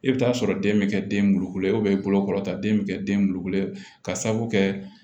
I bɛ taa sɔrɔ den bɛ kɛ den bulukulen i bolokɔrɔ ta den bɛ kɛ den bulukulen ka sabu kɛ